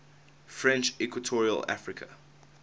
french equatorial africa